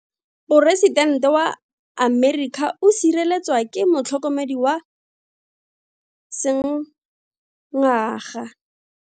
Poresitente wa Amerika o sireletswa ke motlhokomedi wa sengaga.